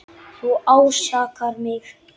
Þú ásakar mig.